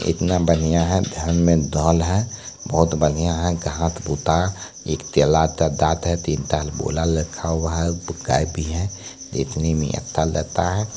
इतना बढ़िया है बहुत बढ़िया है घास-भूसा एक केला का गाछ है तीन चाल बोला रखा हुआ है गाय भी है देखने मे अच्छा लगता हैं।